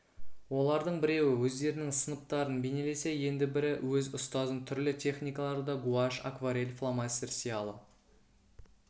олардың біреуі өздерінің сыныптарын бейнелесе енді бірі өз ұстазын түрлі техникаларда гуашь акварель фломастер сиялы